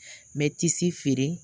Mɛ tisi feere,